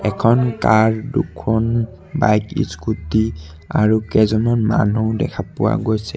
এখন কাৰ দুখন bike scooty আৰু কেইজনমান মানুহ দেখা পোৱা গৈছে।